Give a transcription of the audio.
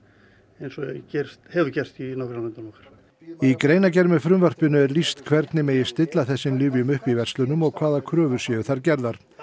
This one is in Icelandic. eins og hefur gerst hefur gerst í nágrannalöndum okkar í greinargerð með frumvarpinu er lýst hvernig megi stilla þessum lyfjum upp í verslunum og hvaða kröfur séu þar gerðar